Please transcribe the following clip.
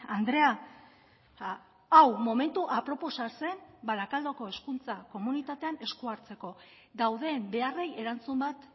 andrea hau momentu aproposa zen barakaldoko hezkuntza komunitatean eskua hartzeko dauden beharrei erantzun bat